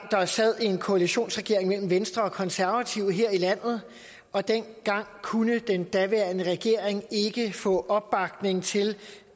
der sad en koalitionsregering af venstre og konservative her i landet og dengang kunne den daværende regering ikke få opbakning til